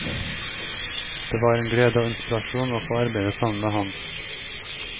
Det var en glede og inspirasjon å få arbeide sammen med ham.